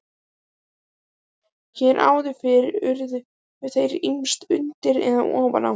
Hér áður fyrr urðu þeir ýmist undir eða ofan á.